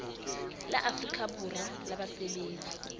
la afrika borwa la basebetsi